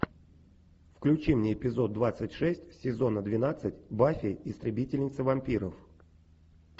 включи мне эпизод двадцать шесть сезона двенадцать баффи истребительница вампиров